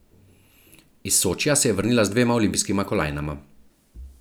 Iz Sočija se je vrnil z dvema olimpijskima kolajnama.